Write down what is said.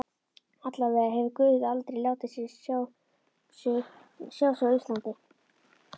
Allavega hefur guð aldrei látið sjá sig á Íslandi.